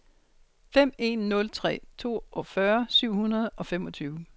fem en nul tre toogfyrre syv hundrede og femogtyve